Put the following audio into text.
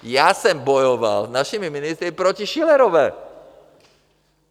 Já jsem bojoval s našimi ministry proti Schillerové.